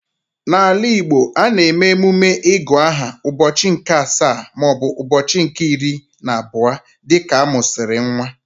N'ala Igbo, a na-eme emume igu aha ụbọchị nke asaa maọbụ ụbọchị nke iri na abụọ dịka amusiri nwa